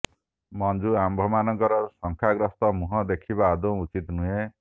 ମଞ୍ଜୁ ଆମ୍ଭମାନଙ୍କର ଶଙ୍କାଗ୍ରସ୍ତ ମୁହଁ ଦେଖିବା ଆଦୌ ଉଚିତ୍ ନୁହେଁ